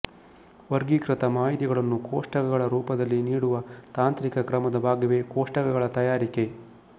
ವಗೀಕೃತ ಮಾಹಿತಿಗಳನ್ನು ಕೋಷ್ಟಕಗಳ ರೂಪದಲ್ಲಿ ನೀಡುವ ತಾಂತ್ರಿಕ ಕ್ರಮದ ಭಾಗವೇ ಕೋಷ್ಟಕಗಳ ತಯಾರಿಕೆ